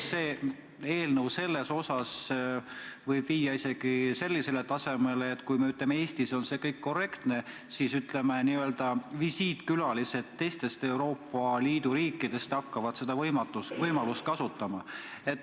See eelnõu võib viia isegi sellisele tasemele, et kui meil Eestis ongi see kõik korrektne, siis n-ö visiitkülalised teistest Euroopa Liidu riikidest hakkavad seda võimalust kasutama.